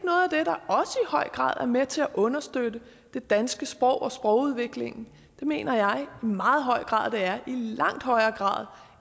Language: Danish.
høj grad er med til at understøtte det danske sprog og sprogudviklingen det mener jeg i meget høj grad det er i langt højere grad